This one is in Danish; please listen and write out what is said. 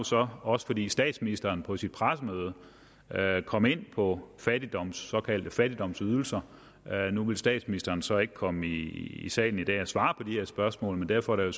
så også fordi statsministeren på sit pressemøde kom ind på såkaldte fattigdomsydelser nu ville statsministeren så ikke komme i salen i dag og svare på de her spørgsmål men derfor er